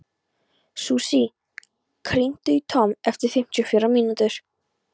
Susie, hringdu í Tom eftir fimmtíu og fjórar mínútur.